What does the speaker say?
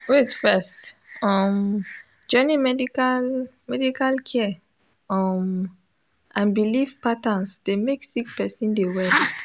wait first um joining medical medical care um and bilif patterns dey mek sik peron dey well